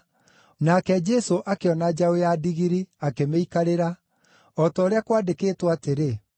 Nake Jesũ akĩona njaũ ya ndigiri, akĩmĩikarĩra, o ta ũrĩa kwandĩkĩtwo atĩrĩ,